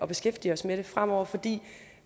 beskæftige os med det fremover fordi